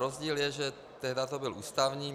Rozdíl je, že tehdy to byl ústavní.